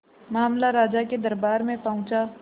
मामला राजा के दरबार में पहुंचा